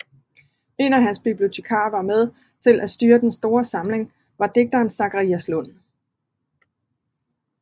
En af hans bibliotekarer som var med til at styre den store samling var digteren Zacharias Lund